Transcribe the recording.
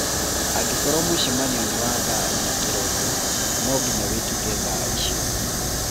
Angĩkorũo mũcemanio nĩ wa thaa inya kĩroko, nonginya wĩkĩke thaa icio